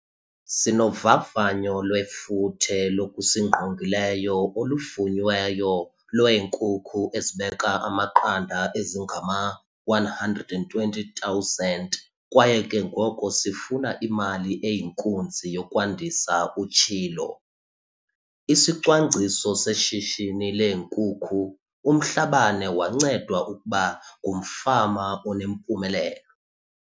"Sinovavanyo lwefuthe lokusingqongileyo oluvunyiweyo lwee-nkukhu ezibeka amaqanda ezingama-120 000 kwaye ke ngoko sifuna imali eyinkunzi yokwandisa," utshilo. ISicwangciso Seshishini leeNkukhu UMhlabane wancedwa ukuba ngumfama onempumelelo.